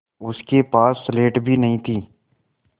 उसके पास स्लेट भी नहीं थी